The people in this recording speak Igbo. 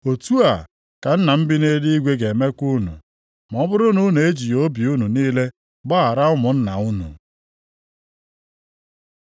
“Otu a ka Nna m bi nʼeluigwe ga-emekwa unu, ma ọ bụrụ na unu ejighị obi unu niile gbaghara ụmụnna unu.”